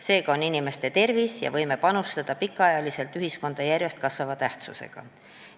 Seega on inimeste tervis ja võime pikaajaliselt ühiskonda panustada järjest kasvava tähtsusega.